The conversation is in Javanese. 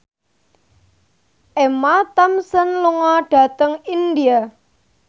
Emma Thompson lunga dhateng India